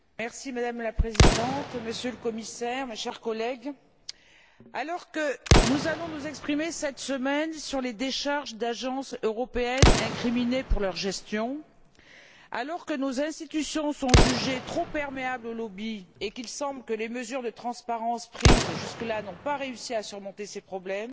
Madame la Présidente, Monsieur le Commissaire, mes chers collègues, alors que nous allons nous exprimer cette semaine sur les décharges d'agences européennes incriminées pour leur gestion, alors que nos institutions sont jugées trop perméables aux lobbies et qu'il semble que les mesures de transparence prises jusque là n'ont pas réussi à surmonter ces problèmes,